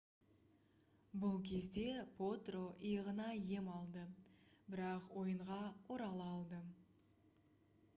бұл кезде потро иығына ем алды бірақ ойынға орала алды